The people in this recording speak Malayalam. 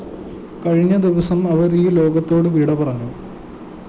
കഴിഞ്ഞ ദിവസം അവര്‍ ഈ ലോകത്തോടു വിടപറഞ്ഞു